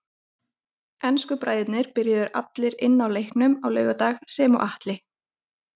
Ensku bræðurnir byrjuðu allir inn á í leiknum á laugardag sem og Atli.